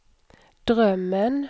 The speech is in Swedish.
drömmen